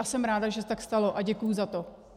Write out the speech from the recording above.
A jsem ráda, že se tak stalo, a děkuji za to.